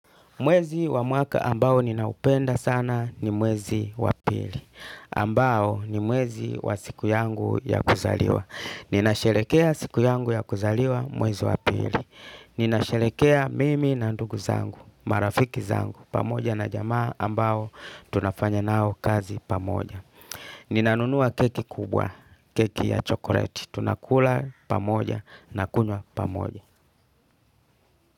Mwezi wa mwaka ambao ninaupenda sana ni mwezi wa pili. Ambao ni mwezi wa siku yangu ya kuzaliwa. Ninasherekea siku yangu ya kuzaliwa mwezi wa pili. Ninasherekea mimi na ndugu zangu, marafiki zangu, pamoja na jamaa ambao tunafanya nao kazi pamoja. Ninanunua keki kubwa, keki ya chokoreti. Tunakula pamoja na kunwa pamoja.